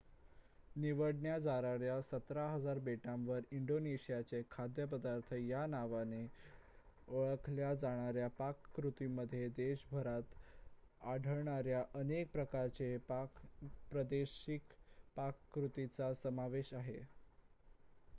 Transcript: निवडण्यासारख्या १७,००० बेटांवर इंडोनेशियाचे खाद्यपदार्थ या नावाने ओळखल्या जाणाऱ्या पाककृतींमध्ये देशभरात आढळणाऱ्या अनेक प्रकारच्या प्रादेशिक पाककृतींचा समावेश आहे